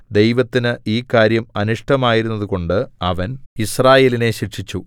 ദൈവത്തിന് ഈ കാര്യം അനിഷ്ടമായിരുന്നതുകൊണ്ടു അവൻ യിസ്രായേലിനെ ശിക്ഷിച്ചു